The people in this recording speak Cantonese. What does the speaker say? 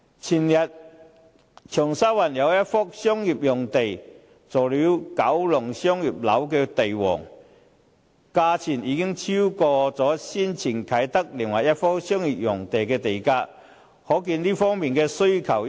長沙灣有一幅商業用地前天榮升為九龍商業樓地王，超過先前啟德另一幅商業用地的地價，由此可見商業用地方面的殷切需求。